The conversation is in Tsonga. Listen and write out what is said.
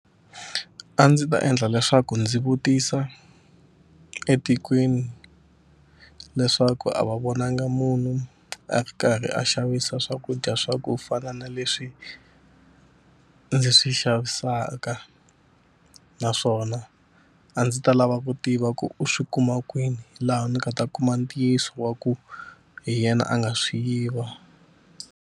A ndzi ta endla leswaku ndzi vutisa etikweni leswaku a va vonangi munhu a ri karhi a xavisa swakudya swa ku fana na leswi ndzi swi xavisaka naswona a ndzi ta lava ku tiva ku u swi kuma kwini laha ndzi nga ta kuma ntiyiso wa ku hi yena a nga swi yiva.